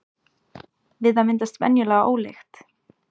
við það myndast venjulega ólykt